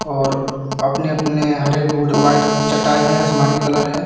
ओर अपने अपने हरे को व्हाइट चटाई असमानी कलर है.